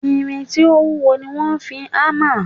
Irin tí ó wúwo ni wọ́n fi hámà